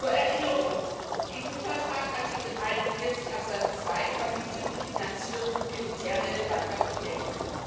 Zur Erinnerung EU Vertrag Artikel 41 Absatz 2 verbietet die Finanzierung militärrelevanter Projekte.